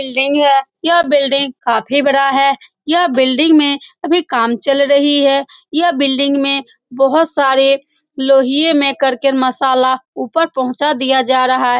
Building है। यह building काफी बड़ा है। यह बिल्डिंग में अभी काम चल रही है। यह बिल्डिंग में बहुत सारे लोहिये में करके मसाला ऊपर पहोचा दिया जा रहा है।